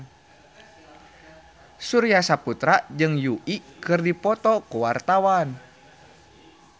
Surya Saputra jeung Yui keur dipoto ku wartawan